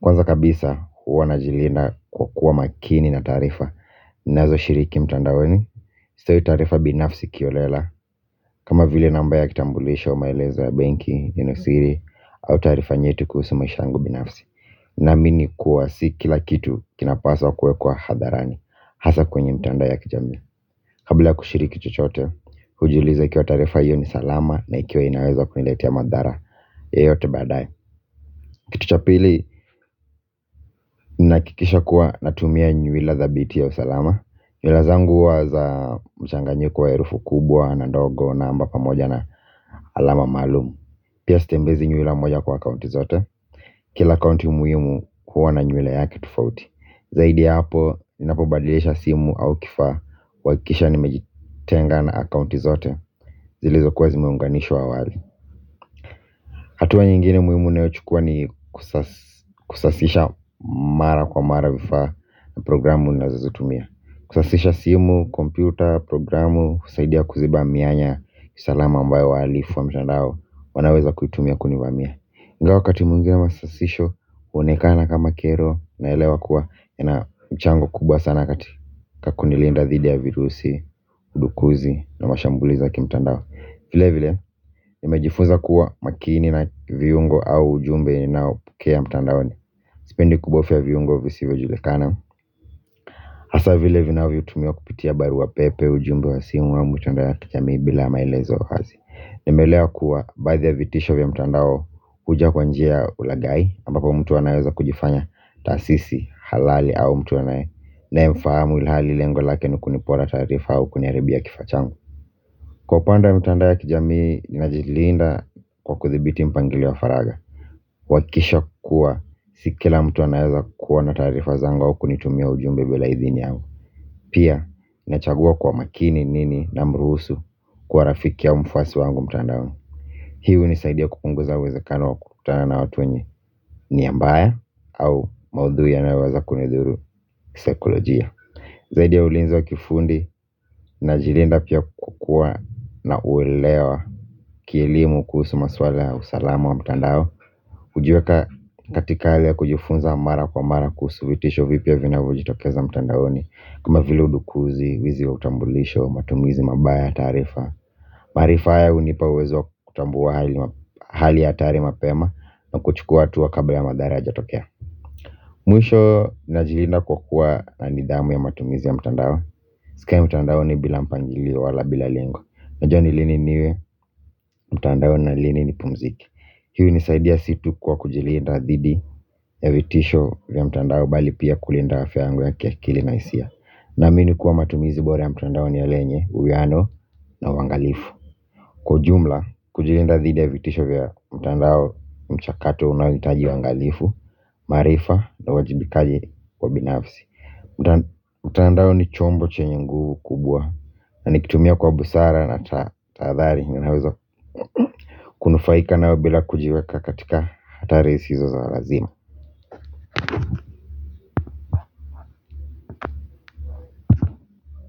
Kwanza kabisa huwa najilinda kuwa makini na tarifa. Nazo shiriki mtandaoni. Sitoi tarifa binafsi kiolela. Kama vile namba ya kitambulisho maelezo ya benki, yenye siri au tarifa nyetu kuhusu maisha yangu binafsi. Naamini kuwa si kila kitu kinapaswa kuwekwa hadharani hasa kwenye mtandao ya kijamii. Kabila kushiriki chotechote ujiulize ikiwa tarifa hiyo ni salama na ikiwa inaweza kuniletea madhara. Yeyote badae. Kitu cha pili, nahakikisha kuwa natumia nyuwila za biti ya usalama. Nyuwila zangu huwa za mchanganyiko wa herufu kubwa na ndogo namba pamoja na alama malumu. Pia sitembezi nyuwila moja kwa akaunti zote kila akaunti muhimu kuwa na nyuwila yake tofauti. Zaidi hapo, ninapobadilisha simu au kifaa. Wakisha nimejitenga na akunti zote zilizokuwa zimeunganishwa awali hatua nyingine muhimu ninayo chukua ni kusasisha mara kwa mara vifaa na programu ninazo zitumia. Kusasisha simu, kompyuta, programu, kusaidia kuziba mianya salama ambayo wahalifu wa mtandao wanaweza kuitumia kunifamia ngawa wakati mwigine masasisho, onekana kama kero naelewa kuwa yana mchango kubwa sana kati kunilinda dhidi ya virusi, kudukuzi na mashambuliza kimtandao. Vile vile nimejifunza kuwa makini na viungo au ujumbe ninao pokea mtandaoni. Sipendi kubofia viungo visivyo julikana hasa vile vinavyo tumiwa kupitia barua pepe ujumbe wa simu au mtandao ya kijamii bila maelezo wazi. Nimelewa kuwa baadhi vitisho vya mtandao huja kwanjia ulagai ambapo mtu anaweza kujifanya tasisi halali au mtu ninae mfahamu ilihali lengo lake ni kunipora tarifa au kuniharibia kifaa changu. Kwa upande wa mtandao ya kijamii najilinda kwa kuthibiti mpangilio wa faraga kuhakikisha kuwa si kila mtu anaeza kuwa na tarifa zangu au kunitumia ujumbe bila idhini yangu. Pia nachagua kwa makini nini na mruhusu kuwa rafiki au mfwasi wangu mtandaoni hii unisaidia kupunguza uwezekao wa kukutana na watu wenye niambaya au maudhui yanayowaza kunidhuru sekolojia. Zaidi ya ulinzi wa kifundi najilinda pia kukua na uelewa kielimu kuhusu maswala ya usalamu wa mtandao. Ujiweka katika hali ya kujifunza mara kwa amara kuhusu vitisho vibya vinavyojitokeza mtandaoni. Kama vile udukuzi, wizi wa utambulisho, matumizi mabaya ya tarifa. Marifa haya unipa uwezo kutambua hali ya hatari mapema na kuchukua hatua kabla ya madhara hayaja tokea mwisho najilinda kwa kuwa ni nidhamu ya matumizi ya mtandao. Sikai mtandaoni bila mpangilio wala bila lengo najua ni lini niwe mtandaoni na lini nipumzike hii unisaidia situ kwa kujilinda dhidi ya vitisho vya mtandao bali pia kulinda afya yangu ya kiakili na hisia. Namini kuwa matumizi bora ya mtandao ni yale, uwiano na uangalifu. Kwa ujumla, kujilinda dhidi ya vitisho vya mtandao mchakato unaoitaji wangalifu, marifa na wajibikaji wa binafsi. Mtaandao ni chombo chenye nguvu kubwa na nikitumia kwa busara na tathari. Unufaika nao bila kujiweka katika hatari hizo za lazima.